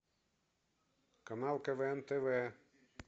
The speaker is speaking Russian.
канал квн тв